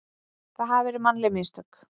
það hafi verið mannleg mistök.